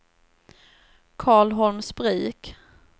Karlholmsbruk